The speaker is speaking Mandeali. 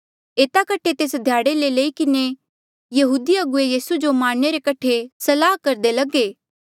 एता कठे तेस ध्याड़े लेई किन्हें यहूदी अगुवे यीसू जो मारणे रे कठे सलाह करदे लगे